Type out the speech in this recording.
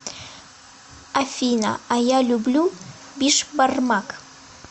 афина а я люблю бишбармак